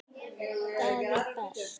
Það er best.